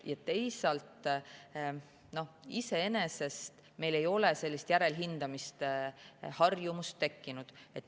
Teisalt, iseenesest ei ole meil sellist järelhindamise harjumust tekkinud.